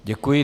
Děkuji.